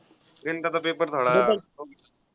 गणिताचा paper थोडा